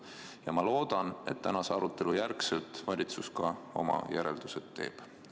Ja ma loodan, et tänase arutelu järgselt valitsus ka oma järeldused teeb.